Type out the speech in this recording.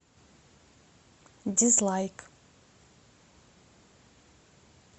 дизлайк